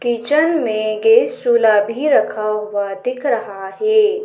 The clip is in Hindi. किचन में गैस चुला भी रखा हुआ दिख रहा है।